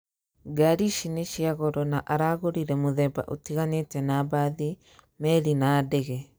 Ngari ici nĩcia goro na aragũrire muthemba ũtiganĩte na mbathi, meri na ndege